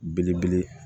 Belebele